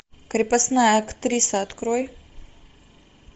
крепостная актриса открой